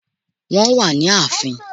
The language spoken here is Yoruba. Wọ́n wà ní ààfin